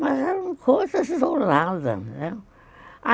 Mas eram coisas isoladas, né?